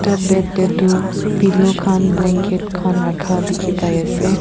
etu bed teh tu pillow khan blanket khan rakha dikhi pai ase.